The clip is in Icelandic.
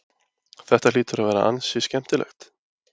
Þetta hlýtur að vera ansi skemmtilegt?